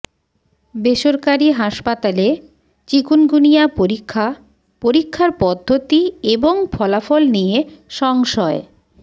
বেসরকারি হাসপাতালে চিকুনগুনিয়া পরীক্ষা পরীক্ষার পদ্ধতি এবং ফলাফল নিয়ে সংশয়